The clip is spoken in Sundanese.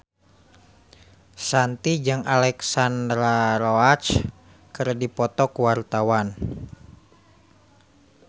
Shanti jeung Alexandra Roach keur dipoto ku wartawan